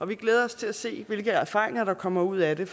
vi glæder os til at se hvilke erfaringer der kommer ud af det